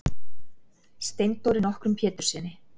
Steindóri nokkrum Péturssyni.